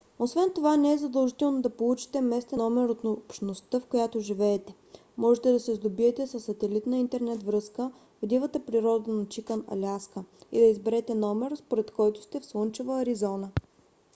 освен това не е задължително да получите местен номер от общността в която живеете; можете да се сдобиете със сателитна интернет връзка в дивата природа на чикън аляска и да изберете номер според който сте в слънчева аризона